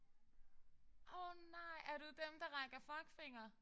Åh nej er du dem der rækker fuckfinger?